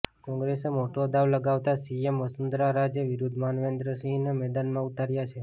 કોંગ્રેસે મોટો દાવ લગાવતાં સીએમ વસુંધરા રાજે વિરુદ્ધ માનવેન્દ્ર સિંહને મેદાનમાં ઉતાર્યા છે